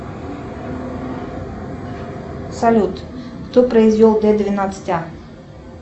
салют кто произвел д двенадцать а